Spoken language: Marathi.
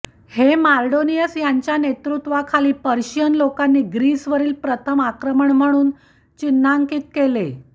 हे मार्डोनियस यांच्या नेतृत्वाखाली पर्शियन लोकांनी ग्रीसवरील प्रथम आक्रमण म्हणून चिन्हांकित केले